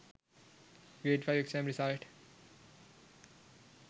grade 5 exam result